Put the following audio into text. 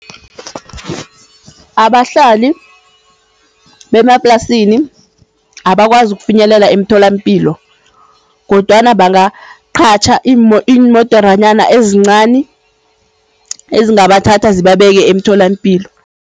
Abahlali bemaplasini, abakwazi ukufinyelela emtholampilo kodwana bangaqatjha iimoderanyana ezincani ezingabathatha zibabeke emtholampilo.